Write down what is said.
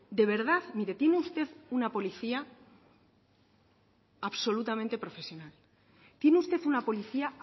de verdad mire tiene usted una policía absolutamente profesional tiene usted una policía